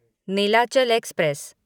Nilachal express